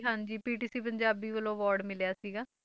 ਹਾਂਜੀ PTC ਪੰਜਾਬੀ ਵੱਲੋਂ award ਮਿਲਿਆ ਸੀਗਾ,